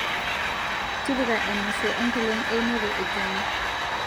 tipika emasho enkolong' einoto e john